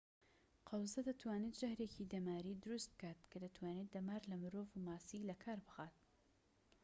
قەوزە دەتوانێت ژەهرێکی دەماری دروست بکات کە دەتوانێت دەمار لە مرۆڤ و ماسی لەکار بخات